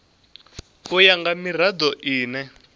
u ya nga mirado ine